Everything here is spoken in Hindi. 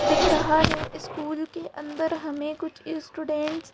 दिख रहा है इस्कूल के अंदर हमें कुछ इस्टूडेंट्स --